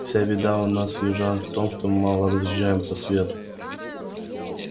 вся беда у нас южан в том что мы мало разъезжаем по свету